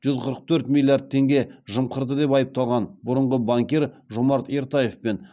жүз қырық төрт миллиард теңге жымқырды деп айыпталған бұрынғы банкир жомарт ертаев пен